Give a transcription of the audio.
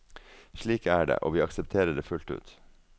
Slik er det, og vi aksepterer det fullt ut.